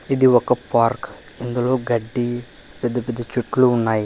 ఇది ఒక పార్క్ ఇందులో గడ్డి పెద్ద పెద్ద చెట్లు ఉన్నాయి.